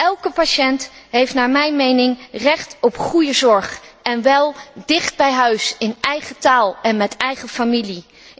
Elke patiënt heeft naar mijn mening recht op goede zorg en wel dicht bij huis, in eigen taal en met eigen familie.